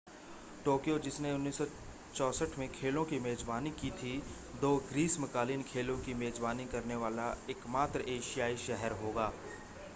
Tokyo जिसने 1964 में खेलों की मेजबानी की थी दो ग्रीष्मकालीन खेलों की मेजबानी करने वाला एकमात्र एशियाई शहर होगा